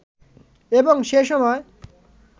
এবং সেসময়